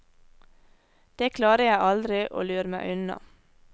Det klarer jeg aldri å lure meg unna.